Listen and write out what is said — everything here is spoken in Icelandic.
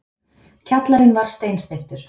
Kjallarinn var steinsteyptur.